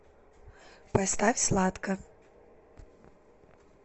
поставь сладко